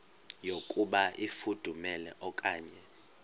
yokuba ifudumele okanye